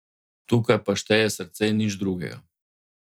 Tukaj pa šteje srce, nič drugega.